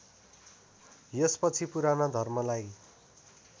यसपछि पुराना धर्मलाई